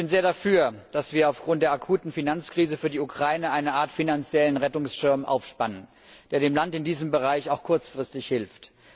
Ich bin sehr dafür, dass wir aufgrund der akuten Finanzkrise für die Ukraine eine Art finanziellen Rettungsschirm aufspannen, der dem Land in diesem Bereich auch kurzfristig hilft.